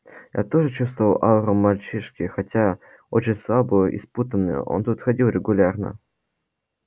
я тоже чувствовал ауру мальчишки хотя очень слабую и спутанную он тут ходил регулярно